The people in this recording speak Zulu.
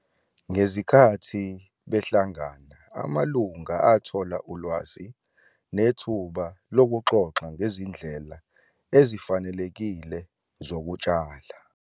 Ngezikhathi behlangana, amalunga athola ulwazi nethuba lokuxoxa ngezindlela ezifanelekile zokutshala.